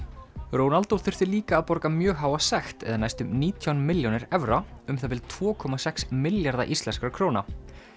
Ronaldo þurfti líka að borga mjög háa sekt eða næstum nítján milljónir evra um það bil tvo komma sex milljarða íslenskra króna